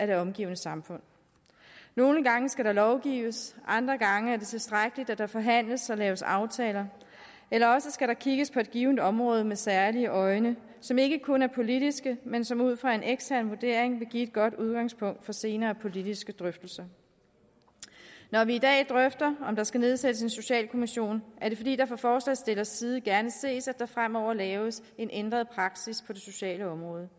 det omgivende samfund nogle gange skal der lovgives andre gange er det tilstrækkeligt at der forhandles og laves aftaler eller også skal der kigges på et givent område med særlige øjne som ikke kun er politiske men som ud fra en ekstern vurdering vil give et godt udgangspunkt for senere politiske drøftelser når vi i dag drøfter om der skal nedsættes en socialkommission er det fordi det fra forslagsstillernes side gerne ses at der fremover laves en ændret praksis på det sociale område